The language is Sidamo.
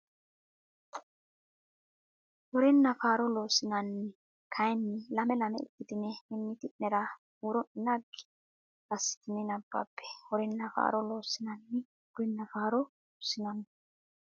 Horenna Faaro Loossinanni kayinni lame lame ikkitine mimmiti nera huuro ne naggi assitine nabbabbe Horenna Faaro Loossinanni Horenna Faaro Loossinanni.